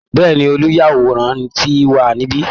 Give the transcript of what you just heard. Bẹ́ẹ̀ ni, olùyàwòrán ti wà níbi